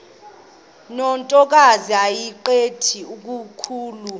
ntokazi yayimqhele kakhulu